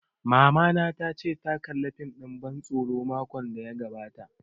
Mamana ta ce ta kalla fim ɗin ban tsoro makon da ya gabata